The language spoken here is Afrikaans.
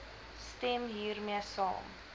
stem hiermee saam